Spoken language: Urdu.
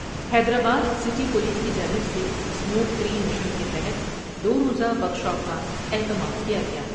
حیدرآبادسٹی پولیس کی جانب سے اسموک فری مشن کے تحت دو روزہ ورکشاپ کا اہتمام کیا گیا ۔